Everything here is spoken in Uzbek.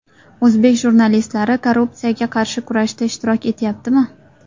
O‘zbek jurnalistlari korrupsiyaga qarshi kurashda ishtirok etyaptimi?.